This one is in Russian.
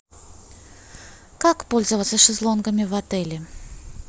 как пользоваться шезлонгами в отеле